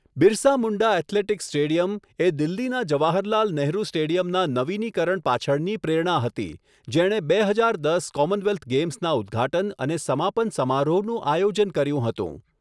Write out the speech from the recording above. Birsa Munda athletics stadium એ દિલ્હીના જવાહરલાલ નેહરુ સ્ટેડિયમના નવીનીકરણ પાછળની પ્રેરણા હતી, જેણે બે હજાર દસ કોમનવેલ્થ ગેમ્સના ઉદઘાટન અને સમાપન સમારોહનું આયોજન કર્યું હતું.